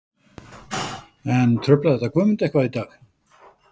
En truflaði þetta Guðmund eitthvað í dag?